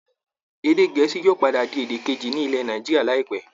Èdè gẹ̀ẹ́sì yóò padà di èdè kejì ní ilẹ̀ Nàìjíríà láìpẹ́